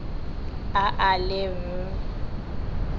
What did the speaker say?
a a le b e